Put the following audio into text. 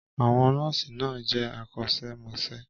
Àwọn nọ́ọ̀sì náà jẹ́ akọ́ṣẹ́mọṣẹ́.